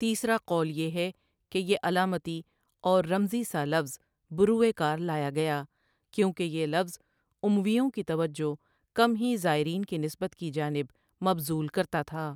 تیسرا قول یہ ہے کہ یہ علامتی اور رمزی سا لفظ بروئے کار لایا گیا کیونکہ یہ لفظ امویوں کی توجہ کم ہی زائرین کی نسبت کی جانب مبذول کرتا تھا ۔